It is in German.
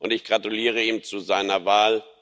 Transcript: Ich gratuliere ihm zu seiner Wahl.